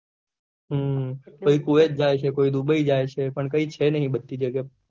હમ કોઈ kuwait જાય છે dubai જાય છે પણ કઈ છે નહી બધી જગ્યા